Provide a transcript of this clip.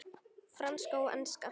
Franska og enska.